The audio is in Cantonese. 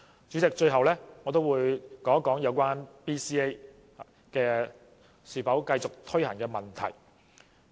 主席，最後我想說說有關 BCA 應否繼續推行的問題。